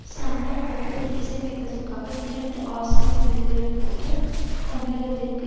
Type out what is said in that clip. Slumdog படத்தில் இசையமைத்ததற்காக இரண்டு ஆஸ்கார் விருதுகளை பெற்று தமிழகத்திற்கும்